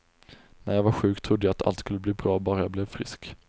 När jag var sjuk trodde jag att allt skulle bli bra bara jag blev frisk.